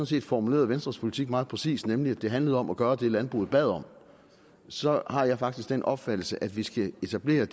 set formulerede venstres politik meget præcist nemlig at det handlede om at gøre det landbruget bad om så har jeg faktisk den opfattelse at vi skal etablere